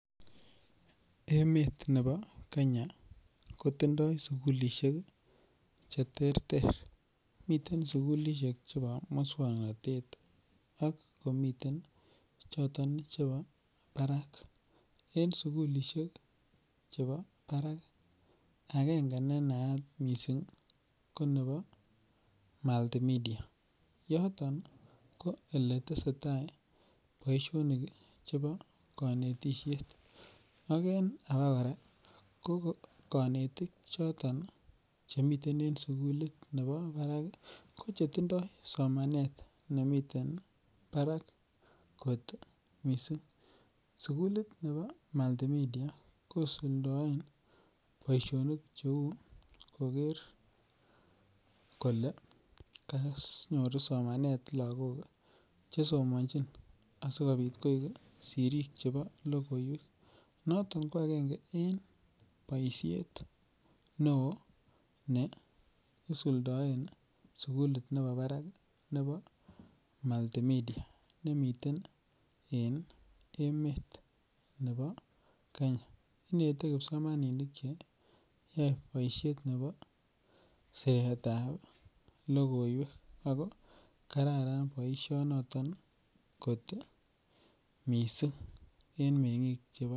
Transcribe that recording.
Emet nebo Kenya kotindo sugulishek cheterter miten sugulishek choton chebo muswoknotet ak komiten choton chebo barak, en sugulishek chebo barak agenge nenaat missing' konebo Multimedia noton kò eletesetaa boisionik chebo konetishet ak en abokoraa konetik choton chemiten en sugulit nebo barak ko chetindo somanet nemiten barak kot missing', sugulit nebo Multimedia kosuldoen boisionik cheu nebo koker kole konyor somanet lagok chesomonjin asikobit koik sirik chebo logoiwek, noton ko agenge en boishet neo neisuldoen sugulit nebo barak nekekure Multimedia nemiten en emet nebo Kenya inete kipsomaninik cheyoe boisiet nebo siretab logoiwek ako kararan boishonoton kot missing' en mengik chebo Kenya.